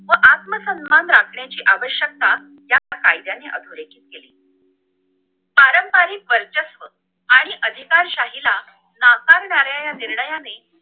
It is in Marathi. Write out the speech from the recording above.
व आत्मसन्मान राखण्याची आवश्यकता यात कायदाने आखले गेले पारंपरिक वर्चस्व आणि अधिकार शाहीला नाकारणाऱ्या ये निर्णययाने